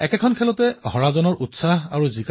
লগতে এয়াও কলে যে তেওঁৰ সৈতে খেলা কিমান কঠিন আছিল